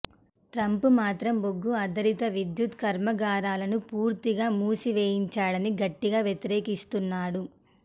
Trump మాత్రం బొగ్గు ఆధారిత విద్యుత్ కర్మాగారాలను పూర్తిగా మూసి వేయించడాన్ని గట్టిగా వ్యతిరేకిస్తున్నాడు